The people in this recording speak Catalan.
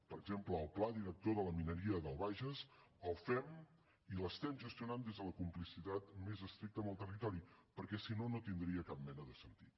per exemple el pla director de la mineria del bages el fem i l’estem gestionant des de la complicitat més estricta amb el territori perquè si no no tindria cap mena de sentit